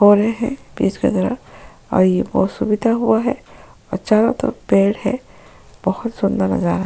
हो रहे है बीच की तरफ और ये बहुत सुविधा हुआ है और चारों तरफ पेड़ है बहुत सुंदर नजारा --